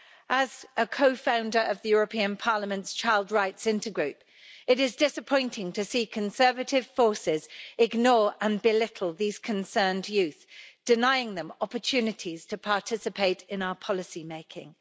As a co founder of the European Parliament's Child Rights Intergroup, it is disappointing to see conservative forces ignore and belittle these concerned youth, denying them opportunities to participate in our policy making.